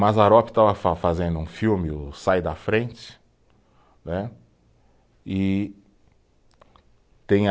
Mazzaropi estava fa fazendo um filme, o Sai da Frente, né e tinha